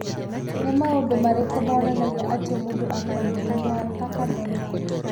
Nĩ maũndũ marĩkũ monanagia atĩ mũndũ arĩ na mũrimũ wa Thakker Donnai?